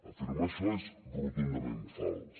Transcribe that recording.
afirmar això és rotundament fals